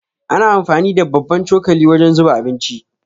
Ana amfani da babban cokali wajen zuba abinci.